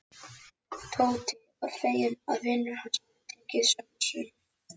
Tóti var feginn að vinur hans hafði tekið sönsum.